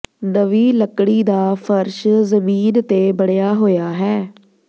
ਨਵੀਂ ਲੱਕੜੀ ਦਾ ਫਰਸ਼ ਜ਼ਮੀਨ ਤੇ ਬਣਿਆ ਹੋਇਆ ਹੈ